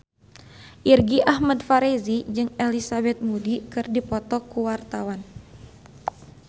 Irgi Ahmad Fahrezi jeung Elizabeth Moody keur dipoto ku wartawan